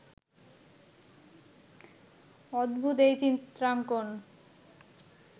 অদ্ভূত এই চিত্রাঙ্কণ